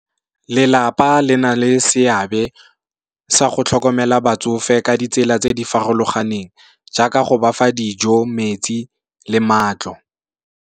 Lelapa le na le seabe sa go tlhokomela batsofe ka ditsela tse di farologaneng, jaaka go bafa dijo, metsi le matlo.